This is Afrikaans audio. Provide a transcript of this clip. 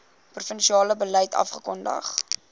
provinsiale beleid afgekondig